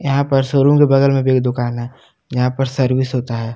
यहां पर शोरूम के बगल में एक दुकान है जहां पर सर्विस होता है।